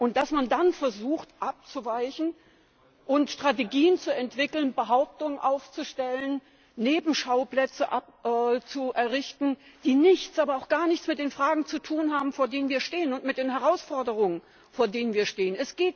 Und dass man dann versucht, abzuweichen und Strategien zu entwickeln, Behauptungen aufzustellen, Nebenschauplätze zu errichten, die nichts, aber auch gar nichts mit den Fragen zu tun haben, vor denen wir stehen, und mit den Herausforderungen, vor denen wir stehen.